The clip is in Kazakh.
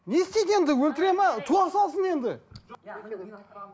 не істейді енді өлтіре ме туа салсын енді